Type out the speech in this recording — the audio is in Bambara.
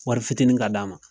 Wari fitiini ka d'a ma.